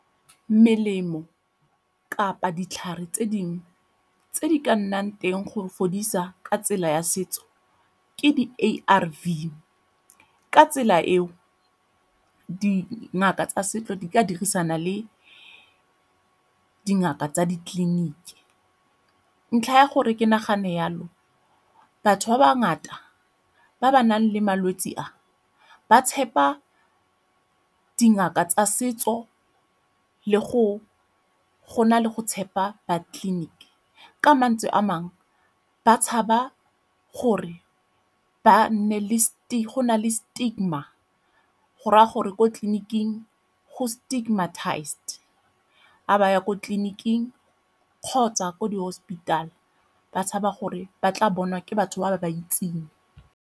Melemo kapa ditlhare tse dingwe tse di ka nnang teng go fodisa ka tsela ya setso ke di A_R_V. Ka tsela eo, dingaka tsa setso di ka dirisana le dingaka tsa ditleliniki. Ntlha ya gore ke nagane yalo, batho ba ba ngata ba ba nang le malwetse a, ba tshepa dingaka tsa setso go na le go tshepa ba tleliniki ka mantswe a mangwe ba tshaba gore go na le stigma go raya gore ko tleliniking go stigmatized. Ga ba ya ko ditleliniking kgotsa ko di-hospital ba tshaba gore ba tla bonwa ke batho ba ba ba itseng.